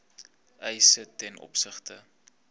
eise ten opsigte